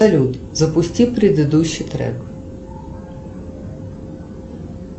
салют запусти предыдущий трек